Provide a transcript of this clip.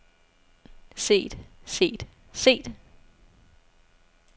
set set set